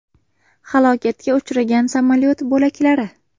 Halokatga uchragan samolyot bo‘laklari.